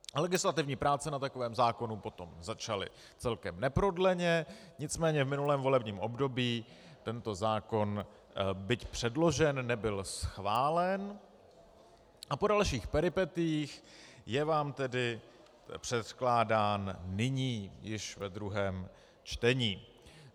Legislativní práce na takovém zákonu potom začaly celkem neprodleně, nicméně v minulém volebním období tento zákon, byť předložen, nebyl schválen a po dalších peripetiích je vám tedy předkládán nyní již ve druhém čtení.